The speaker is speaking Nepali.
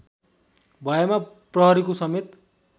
भएमा प्रहरीको समेत